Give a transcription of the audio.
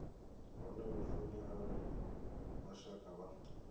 hone lufuni arali mashaka vha